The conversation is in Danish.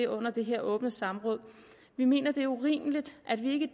under det her åbne samråd vi mener det er urimeligt at vi ikke